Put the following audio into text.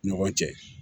Ni ɲɔgɔn cɛ